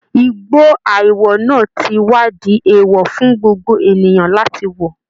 Igbó àìwọ̀ náà ti wá di èèwọ̀ fún gbogbo ènìyàn láti wọ̀